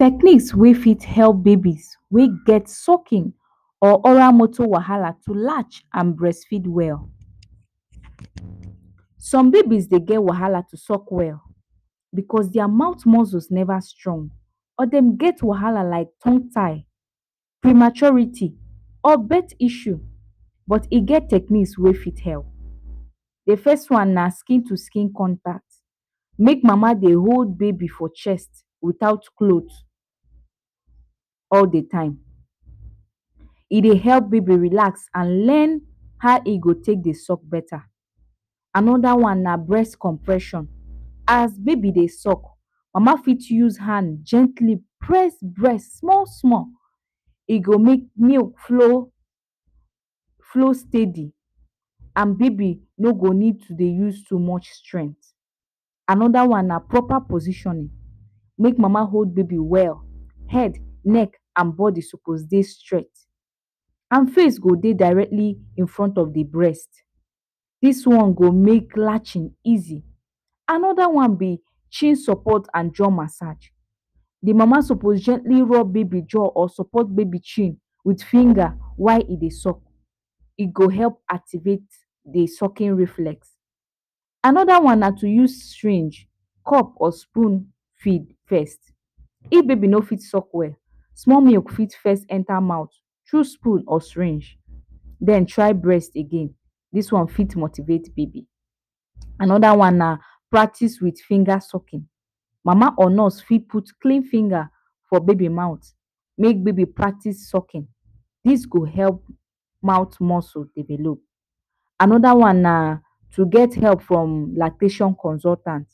Techniques wey fit help babies wey get sucking or oral motor wahala to latch and breastfeed well, some babies dey get wahala to suck well because their mouth muscle never strong or dem get wahala like tongue tie, prematurity, or birth issues but e ge techniques wey fit help. De first one na skin to skin contact, make mama dey hold baby for chest without cloth all de time, e dey help baby relax and learn how e go take dey suck beta. Another one na breast compression as baby de suck mama fit use hand gently press breast small small, e go make milk flow steady and baby no go need to de use too much strength. Another one na proper positioning make mama hold baby well, head, neck and body suppose de straight and face go dey directly in front of de breast dis one go make latching easy. Another one be chin support and jaw massage, mama suppose gently rub baby jaw or support baby chin with finger while e dey suck e go help activate de sucking reflect. Anther one na to use syringe, cup or spoon feed first if baby no fit suck well small milk fit first enter mouth through spoon or syringe den try breast again, this one fit motivate baby. Another one na practice with finger sucking, mama or nurse fit put clean finger for baby mouth make baby practice sucking this go help mouth muscles develop. another one na to get help from lactation consultant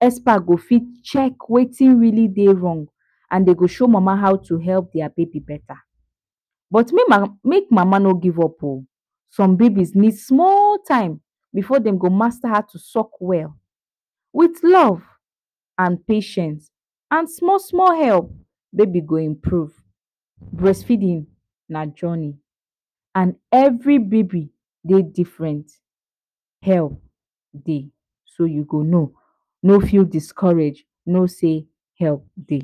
expect go fit check wetin really dey wrong and dem go show mama how to help their baby better but make mama no give up o, some babies need small time before dem go master how to suck well with love and patience and small small help baby go improve breast feeding na journey and every baby dey different help dey so u go no, no feel discourage no sey help dey